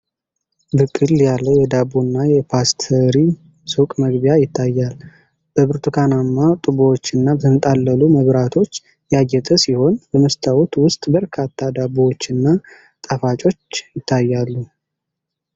ብቅል ያለ የዳቦና የፓስቲሪ ሱቅ መግቢያ ይታያል። በብርቱካናማ ጡቦችና በተንጠለጠሉ መብራቶች ያጌጠ ሲሆን፣ በመስታወት ውስጥ በርካታ ዳቦዎችና ጣፋጮች ይታያ ሉ።